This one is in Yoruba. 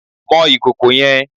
Mọ ìkòkò yẹn!